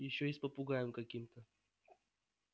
ещё и с попугаем каким-то